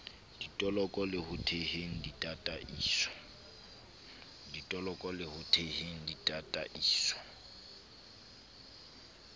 ditoloko le ho theheng ditataiso